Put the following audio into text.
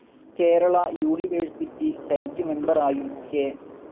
Kerala university senate മെമ്പറായും K.